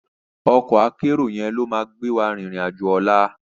Òkò àkèéró yèn ló má gbéwá ririn àjó òlá